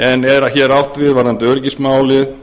en er hér átt við varðandi öryggismálin